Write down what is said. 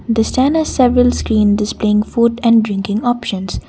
the standed several screen displaying food and drinking options.